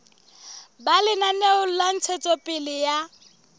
ba lenaneo la ntshetsopele ya